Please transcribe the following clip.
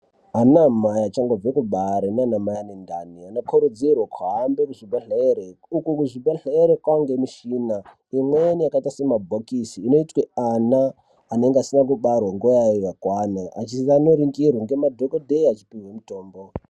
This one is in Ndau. Ana mai achangobva kubare nana mai ane ana anokurudzitwa kuhambe kuzvibhedhlere uko kuzvibhedhlere kwaane mishina imweni yaakaite semabhokisi inoitwe ana anenge abarwa nguwa isati yakwana anoningirwa ngemadhokodheya achipihwe mutombo.